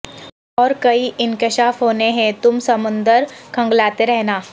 اور کئی انکشاف ہونے ہیں تم سمندر کھنگالتے رہنا